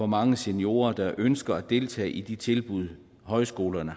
mange seniorer der ønsker at deltage i de tilbud højskolerne